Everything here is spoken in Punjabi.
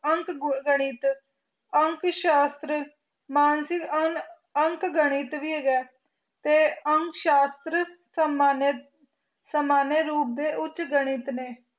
ਅੰਕ ਗਣਿਤ ਅੰਕ ਸ਼ਾਸਤਰ ਮਾਨਸਿਕ ਅੰਕ ਗਣਿਤ ਵੀ ਹੈਗਾ ਤੇ ਅੰਕ ਸ਼ਾਸਤਰ ਸੰਮਾਨਿਤ ਸਮਾਨਿਅ ਰੂਪ ਦੇ ਉਚ ਗਣਿਤ ਨੇ